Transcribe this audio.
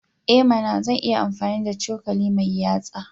I mana! Zan iya amfani da cokali mai yatsa.